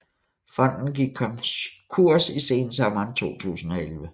Fonden gik konkurs i sensommeren 2011